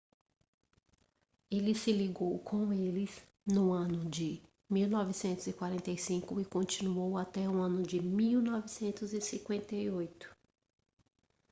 ele se ligou com eles no ano de 1945 e continuou até o ano de 1958